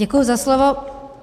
Děkuji za slovo.